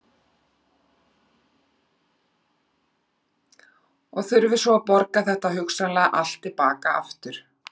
Og þurfið svo að borga þetta hugsanlega allt til baka aftur?